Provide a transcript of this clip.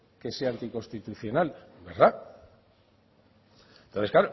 que sea anticonstitucional verdad entonces